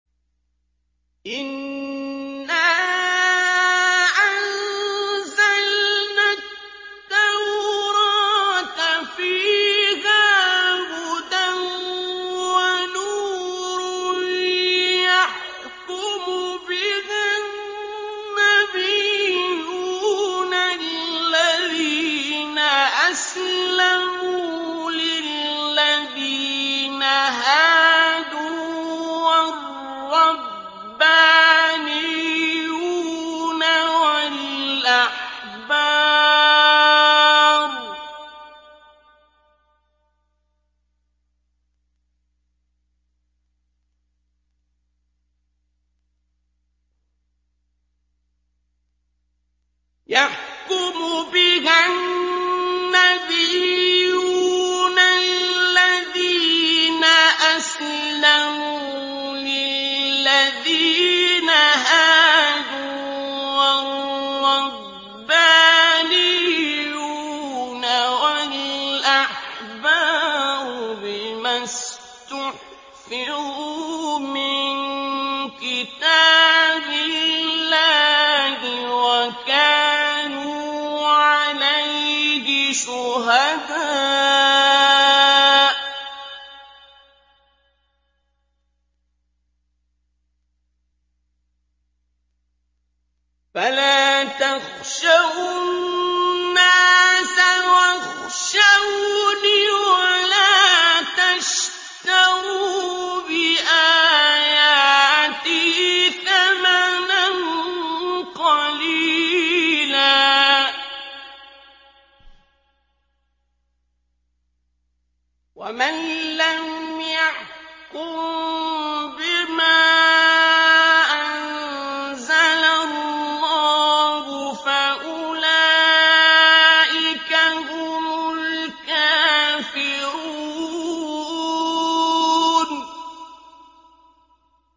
إِنَّا أَنزَلْنَا التَّوْرَاةَ فِيهَا هُدًى وَنُورٌ ۚ يَحْكُمُ بِهَا النَّبِيُّونَ الَّذِينَ أَسْلَمُوا لِلَّذِينَ هَادُوا وَالرَّبَّانِيُّونَ وَالْأَحْبَارُ بِمَا اسْتُحْفِظُوا مِن كِتَابِ اللَّهِ وَكَانُوا عَلَيْهِ شُهَدَاءَ ۚ فَلَا تَخْشَوُا النَّاسَ وَاخْشَوْنِ وَلَا تَشْتَرُوا بِآيَاتِي ثَمَنًا قَلِيلًا ۚ وَمَن لَّمْ يَحْكُم بِمَا أَنزَلَ اللَّهُ فَأُولَٰئِكَ هُمُ الْكَافِرُونَ